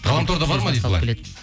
ғаламторда бар ма дейді